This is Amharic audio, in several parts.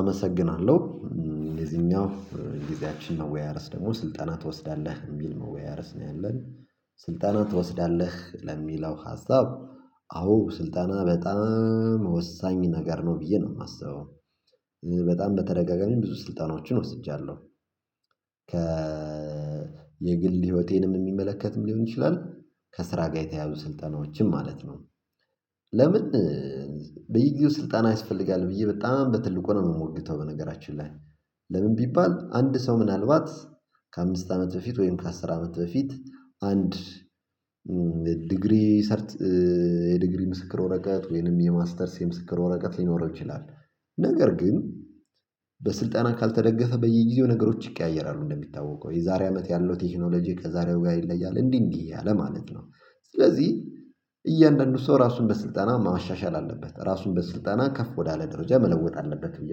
አመሰግናለሁ የዚህኛው ጊዜያችን ነው መወያያርዕስ ደግሞ ስልጠና ትወስዳለህ የሚል መወያየር ዕስ ነው ያለን ስልጠና ትወስዳለህ ለሚለው ሀሳብ። አዎ ስልጠና በጣም ወሳኝ ነገር ነው ብዬ ነው የማስበው። በጣም በተደጋጋሚ ብዙ ስልጠናዎችን ወስጃለሁ። ከ የግል ህይወቴንም የሚመለከትም ሊሆን ይችላል ከስራ ጋር የተያዙ ስልጠናዎችም ማለት ነው። ለምን? በየጊዜው ስልጣን ያስፈልግም ብዬ በጣም በትልቁ ነው የምሞግተው። በነገራችን ላይ። ለምን ቢባል አንድ ሰው ምናልባት ከአምስት አመት በፊት ወይም ከአስር አመት በፊት አንድ ዲግሪ ሰርት የዲግሪ ምስክር ወረቀት ወይንም የማስተርስ የምስክር ወረቀት ሊኖር ይችላል። ነገር ግን በስልጠና ካልተደገፈ በየጊዜው ነገሮች ይቀያየራሉ እንደሚታወቀው የዛሬ አመት ያለው ቴክኖሎጂ ከዛሬው ጋር ይለያል እንዲህ እንዲህ ማለት ነው። ስለዚህ እያንዳንዱ ሰው ራሱን በስልጠና ማሻሻል አለበት ራሱን በስልጠና ከፍ ወዳለ ደረጃ መለወጥ አለበት ብዬ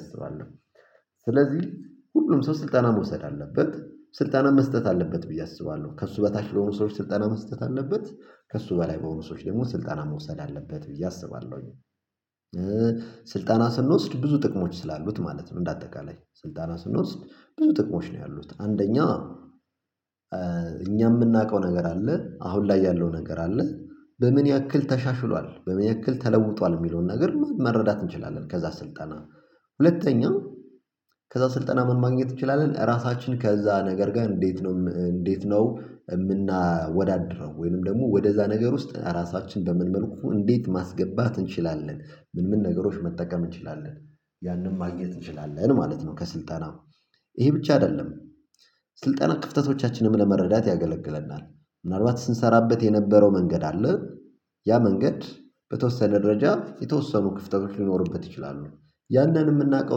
አስባለሁ። ስለዚህ ሁሉም ሰው ስልጠና መውሰድ አለበት ስልጠናም መስጠት አለበት ብዬ አስባለሁ ከእሱ በታች ለሆኑ ሰዎች ስልጠና መስጠት አለበት። ከእሱ በላይ በሆነ ሰዎች ደግሞ ስልጠና መውሰድ አለበት ብዬ አስባለሁኝ። ስልጠና ስንወስድ ብዙ ጥቅሞች ስላሉት ማለት ነው እንደ አጠቃላይ ስልጠና ስንወስድ ብዙ ጥቅሞች ነው ያሉት አንደኛ። እኛ የምናውቀው ነገር አለ አሁን ላይ ያለው ነገር አለ። በምን ያክል ተሻሽሏል በምን ያክል ተለውጧል የሚለውን ነገር ም መረዳት እንችላለን ከዛ ስልጠና። ሁለተኛው ከዛ ስልጠና ምን ማግኘት እንችላለን? ራሳችን ከዛ ነገር ጋር እንዴት ነው እንዴት ነው የምናወዳድረው? ወይንም ደግሞ ወደዛ ነገር ውስጥ ራሳችን በምን መልኩ እንዴት ማስገባት እንችላለን? ምን ምን ነገሮች መጠቀም እንችላለን? ያንን ማግኘት እንችላለን ማለት ነው። ከስልጠና ይሄ ብቻ አይደለም። ስልጠና ክፍተቶቻችንን ለመረዳት ያገለግለናል። ምናልባት ስንሠራበት የነበረው መንገድ አለ። ያ መንገድ በተወሰነ ደረጃ የተወሰኑ ክፍተቶች ሊኖርበት ይችላሉ። ያንን የምናውቀው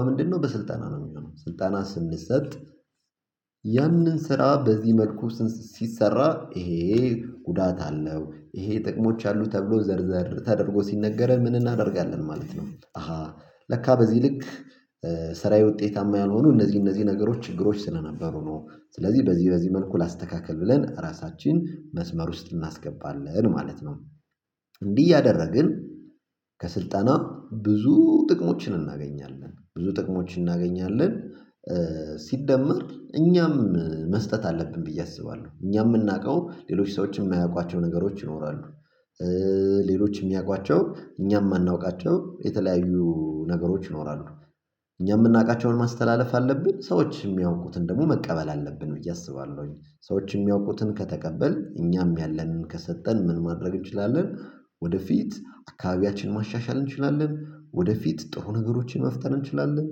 በምንድንነው በስልጠና ነው የሚሆነው ስልጠና ስንሰጥ። ያንን ስራ በዚህ መልኩስ ሲሰራ ይሄ ጉዳት አለው ይሄ ጥቅሞች አሉ ተብሎ ዘርዘር ተደርጎ ሲነገረን ምን እናደርጋለን? ማለት ነው። አሃ ለካ በዚህ ልክ። ስራዬ ውጤታማ ያልሆነው እነዚህ እነዚህ ነገሮች ችግሮች ስለነበሩ ነው ስለዚህ በዚህ በዚህ መልኩ ላስተካከል ብለን ራሳችን መስመር ውስጥ እናስገባለን ማለት ነው። እንዲህ እያደረግን። ከስልጠና ብዙ ጥቅሞችን እናገኛለን ብዙ ጥቅሞችን እናገኛለን። ሲደመር እኛም መስጠት አለብን ብዬ አስባለሁ እኛ የምናውቀው ሌሎች ሰዎችን የማያውቋቸው ነገሮች ይኖራሉ። ሌሎች የሚያውቋቸው እኛም የማናውቃቸው የተለያዩ ነገሮች ይኖራሉ። እኛ የምናውቃቸውን ማስተላለፍ አለብን ሰዎች የሚያውቁትን ደግሞ መቀበል አለብን ብዬ አስባለሁኝ። ሰዎች የሚያውቁትን ከተቀበል እኛም ያለንን ከሰጠን ምን ማድረግ እንችላለን? ወደፊት አካባቢያችን ማሻሻል እንችላለን ወደፊት ጥሩ ነገሮችን መፍጠር እንችላለን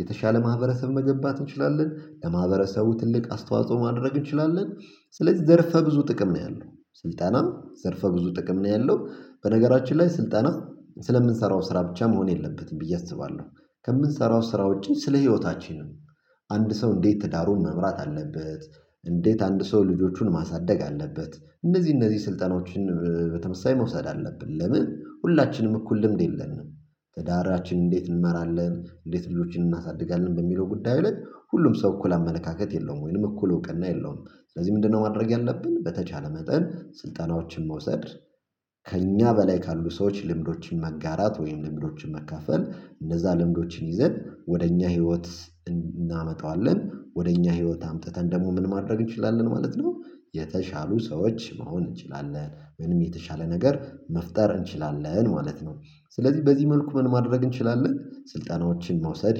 የተሻለ ማህበረሰብ መገባት እንችላለን ከማህበረሰቡ ትልቅ አስተዋጽኦ ማድረግ እንችላለን። ስለዚህ ዘርፈ ብዙ ጥቅም ነው ያለው ስልጠና ዘርፈ ብዙ ጥቅም ነው ያለው በነገራችን ላይ ስልጠና ስለምንሠራው ስራ ብቻ መሆን የለበትም ብዬ አስባለሁ። ከምንሠራው ስራ ውጪ ስለ ህይወታችን ም አንድ ሰው እንዴት ትዳሩን መምራት አለበት? እንዴት አንድ ሰው ልጆቹን ማሳደግ አለበት? እነዚህ እነዚህ ስልጠናዎችን በተመሳሳይ መውሰድ አለብን። ለምን ሁላችንም እኩል ልምድ የለንም? ትዳራችን እንዴት እንመራለን እንዴት ልጆችን እናሳድጋለን በሚለው ጉዳዩ ላይ ሁሉም ሰው እኩል አመለካከት የለውም። ወይንም እኩል እውቅና የለውም። ስለዚህ ምንድንነው ማድረግ ያለብን? በተቻለ መጠን ስልጠናዎችን መውሰድ። ከእኛ በላይ ካሉ ሰዎች ልምዶችን መጋራት ወይም ልምዶችን መካፈል እነዛ ልምዶችን ይዘን ወደ እኛ ህይወት እን እናመጣዋለን ወደ እኛ ህይወት አምጥተን ደግሞ ምን ማድረግ እንችላለን ማለት ነው። የተሻሉ ሰዎች መሆን እንችላለን ወይም የተሻለ ነገር መፍጠር እንችላለን ማለት ነው። ስለዚህ በዚህ መልኩ ምን ማድረግ እንችላለን ስልጠናዎችን መውሰድ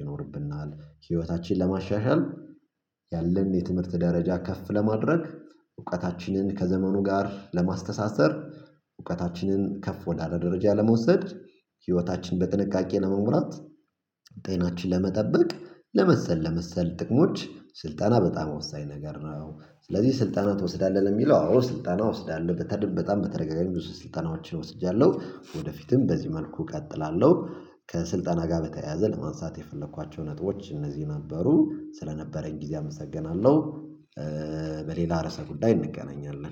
ይኖርብናል። ህይወታችን ለማሻሻል። ያለን የትምህርት ደረጃ ከፍ ለማድረግ። እውቀታችንን ከዘመኑ ጋር ለማስተሳሰር። እውቀታችንን ከፍ ወዳለ ደረጃ ለመውሰድ። ህይወታችን በጥንቃቄ ነው ለመምራት። ጤናችን ለመጠበቅ። ለመሰል ለመሰል ጥቅሞች ስልጠና በጣም ወሳኝ ነገር ነው። ስለዚህ ስልጠና ትወስዳለህ ለሚለው አዎ ስልጠና ውስጥ አለበት በጣም በተደጋጋሚ ብዙ ስልጠናዎችን ወስጃለሁ ወደፊትም በዚህ መልኩ እቀጥላለሁ ከስልጠና ጋር በተያያዘ ለማንሳት የፈለኳቸው ነጥቦች እነዚህ ነበሩ ስለነበረኝ ጊዜ አመሰግናለሁ። በሌላ ርዕሰ ጉዳይ እንገናኛለን